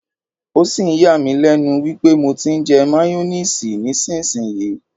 O sì ń yà mí lẹ́nu wípé mo ti ń jẹ máyónísiìsì nísinsìnyí.